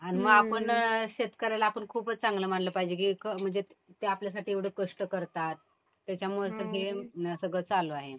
आणि मग आपण शेतकऱ्याला आपण खूपच चांगलं मानलं पाहिजे कि म्हणजे ते आपल्यासाठी एवढे कष्ट करतात त्याच्यामुळेच तर हे सगळं चालू आहे